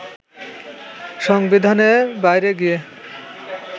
সংবিধানের বাইরে গিয়ে